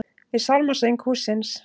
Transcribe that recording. Við sálmasöng hússins.